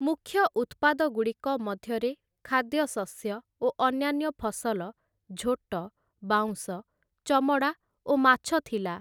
ମୁଖ୍ୟ ଉତ୍ପାଦଗୁଡ଼ିକ ମଧ୍ୟରେ ଖାଦ୍ୟଶସ୍ୟ ଓ ଅନ୍ୟାନ୍ୟ ଫସଲ, ଝୋଟ, ବାଉଁଶ, ଚମଡ଼ା ଓ ମାଛ ଥିଲା ।